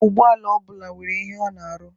Akụkụ ụgbọala ọ bụla nwere ihe ọ na-arụ.